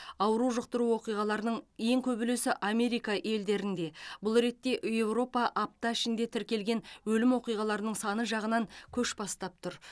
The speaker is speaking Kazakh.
ауру жұқтыру оқиғаларының ең көп үлесі америка елдерінде бұл ретте еуропа апта ішінде тіркелген өлім оқиғаларының саны жағынан көш бастап тұр